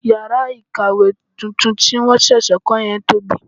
18. Ìyàrá kàwé tuntun tí wọn ṣẹ̀ṣẹ̀ kò yẹn tóbi.